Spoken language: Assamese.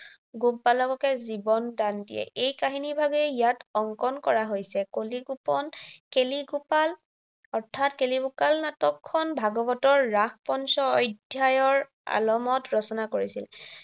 গোপবালককে জীৱন দান দিয়ে। এই কাহিনীভাগেই ইয়াত অংকন কৰা হৈছে। কলিগোপন, অৰ্থাত কেলিগোপাল নাটখন ভাগৱতৰ ৰাস পঞ্চ অধ্যায়ৰ আলমত ৰচনা কৰিছিল।